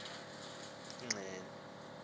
wawnthi tyu egxeni